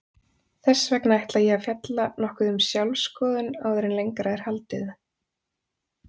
Þess vegna ætla ég að fjalla nokkuð um sjálfsskoðun áður en lengra er haldið.